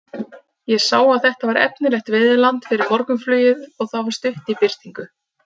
Ég sá að þetta var efnilegt veiðiland fyrir morgunflugið og það var stutt í birtingu.